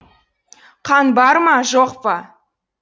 қан бар ма жоқ па